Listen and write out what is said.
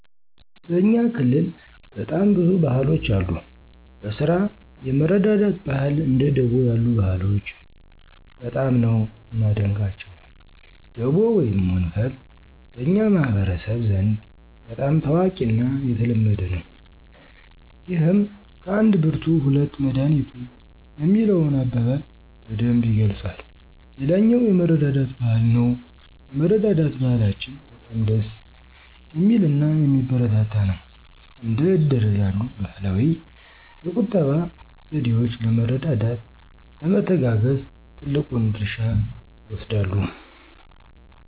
በእኛ ክልል በጣም ብዙ ባህሎች አሉ። በስራ የመረዳዳት ባህል እንደ ደቦ ያሉ ባህሎች በጣም ነው ማደንቀቸው። ደቦ ወይም ወንፈል በኛ ማህበረሰብ ዘንድ በጣም ታዋቂና የተለመደ ነው። ይህም ከአንድ ብርቱ ሁለት መዳኒቱ የሚለውን አበባል በደንብ ይገልፃል። ሌላኛው የመረዳዳት ባህል ነው የመረዳዳት ባህላችን በጣም ደስ ሚልናየሚበረታታ ነው። እንደ እድር ያሉ ባህላዊ የቁጠባ ዘዴወች ለመረዳዳት፣ ለመተጋገዝ ትልቁን ድርሻ ይወስዳሉ።